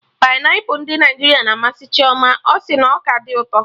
Painiapụlụ ndị Naịjirịa na amasị Chioma, ọ sị na ọ ka dị ụtọ